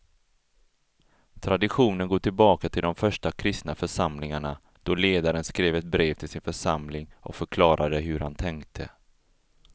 Traditionen går tillbaka till de första kristna församlingarna då ledaren skrev ett brev till sin församling och förklarade hur han tänkte.